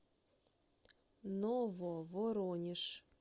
нововоронеж